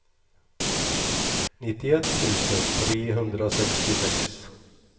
nittioett tusen trehundrasextiosex